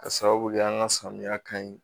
Ka sababu kɛ an ka samiya ka ɲi